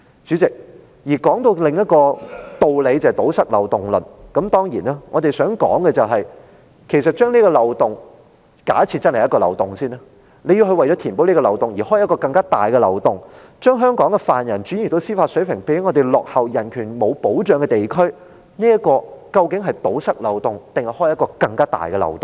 主席，談到另一個道理，即堵塞漏洞論。我們想指出，假設這真是一個漏洞，但如果為了填補這個漏洞，而要開啟另一個更大的漏洞，把香港的犯人轉移到司法水平較我們落後，而且人權沒有保障的地區，究竟漏洞是堵塞了還是擴大了呢？